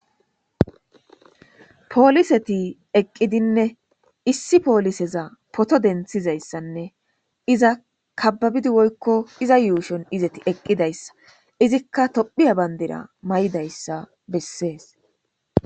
pooliseti eqqidinne issi pooliseza poto denthizayssanne iza kababidi woykko iza yuushon izeti eqqidayssa izikka tophiya bandira may7idayssa bessees